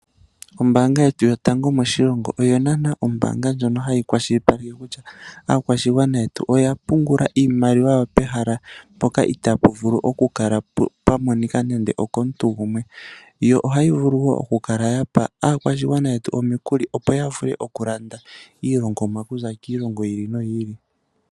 Ombaanga yetu yotango yopashigwana ohayi kwashilipaleke kutya aakwashigwana oya pungula iimaliwa yawo moombanga mono mu na etonatelo lya gwana. Ohayi pe aakwashigwana omikuli opo ya vule okulanda iilongomwa oku za kiilongo yi ili noyi ili.